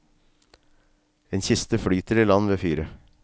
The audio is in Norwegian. En kiste flyter i land ved fyret.